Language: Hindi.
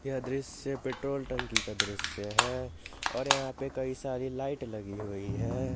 यह दृश्य पेट्रोल टंकी का दृश्य है और यहां पे कई सारी लाइट लगी हुई है।